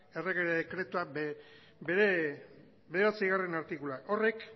errege dekretua bere bederatzigarrena artikulua horrek